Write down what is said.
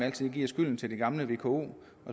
altid giver skylden til det gamle vko